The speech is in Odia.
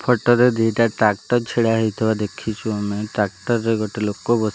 ଫଟୋ ରେ ଦିଇଟା ଟ୍ରାକ୍ଟର ଛିଡା ହୋଇଥିବା ଦେଖୁଚୁ ଆମେ ଟ୍ରାକ୍ଟର ରେ ଗୋଟେ ଲୋକ ବସି --